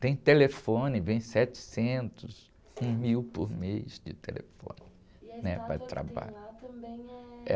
Tem telefone, vem setecentos, um mil por mês de telefone, né? Para o trabalho.